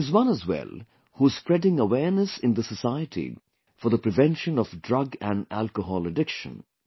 There is one as well who is spreading awareness in the society for the prevention of drug and alcohol addiction